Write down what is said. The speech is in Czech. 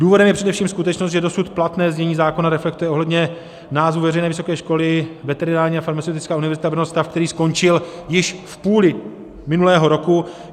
Důvodem je především skutečnost, že dosud platné znění zákona reflektuje ohledně názvu veřejné vysoké školy Veterinární a farmaceutická univerzita Brno stav, který skončil již v půli minulého roku.